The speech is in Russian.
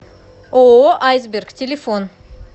ооо айсберг телефон